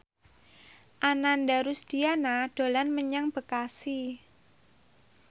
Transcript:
Ananda Rusdiana dolan menyang Bekasi